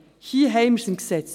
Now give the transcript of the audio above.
Hier haben wir es im Gesetz.